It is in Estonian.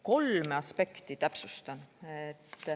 Kolme aspekti täpsustan.